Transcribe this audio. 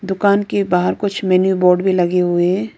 दुकान के बाहर कुछ मेनू बोर्ड भी लगे हुए हैं।